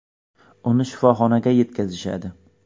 Uni shifoxonaga yetkazishadi.